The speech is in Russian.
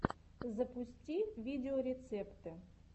запусти видеорецепты